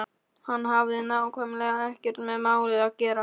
Hann hafði nákvæmlega ekkert með málið að gera.